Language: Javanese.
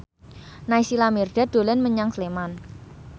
Naysila Mirdad dolan menyang Sleman